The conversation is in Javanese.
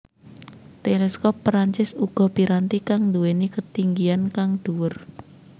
Teleskop Perancis uga piranti kang nduwèni ketinggian kang dhuwur